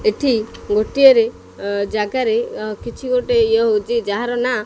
ଏଠି ଗୋଟିଏରେ ଅଁ ଜାଗାରେ ଅକିଛି ଗୋଟେ ଇଏ ହୋଉଚି ଯାହାର ନାଁ --